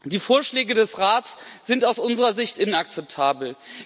Die Vorschläge des Rates sind aus unserer Sicht inakzeptabel.